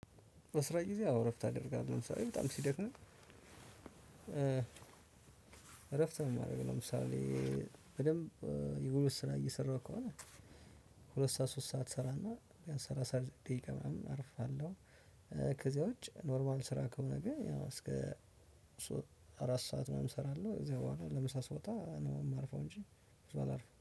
በስራ ግዜ አዎ እረፍት አደርጋለው በጣም ሲደክመኝ እረፍት ነው። እማደርገው ለምሳሌ በደንብ የጉልበት ስራ እየሰራሁ ከሆነ ሁለት ሰዓት ሶስት ሰዓት እሰራና ያን ስራ ሰርቸ ዓረፍ እላለው። ከዛ ውጭ ኖርሟል ስራ ከሆነ ግን እስከ አራት ሰዓት ምናምን እሰራና ከዛ በኋላ ለምሳ ስወጣ ነው የማርፈው። እንጂ ብዙ አላርፍም